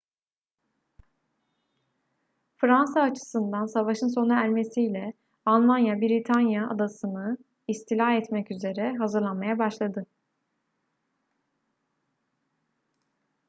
fransa açısından savaşın sona ermesiyle almanya britanya adasını istila etmek üzere hazırlanmaya başladı